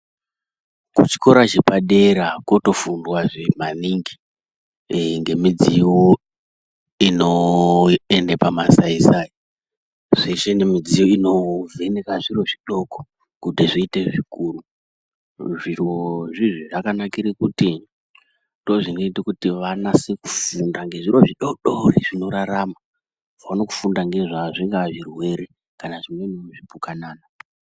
Kuchikora chepadera kotofundwa maningi ngemidziyo inoende pamasaisai zveshe nemidziyo inovheneke zviro zvidoko kuti zviite zvikuru, zviro izvizvi zvakanakire kuti ndozvinoite kuti vanase kufunda ngezviro zvidodori zvinorarama vaone kufunda ngazvazvo zvingave zvirwere kana zvingave zvipukanana.